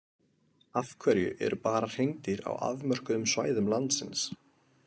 Af hverju eru bara hreindýr á afmörkuðum svæðum landsins?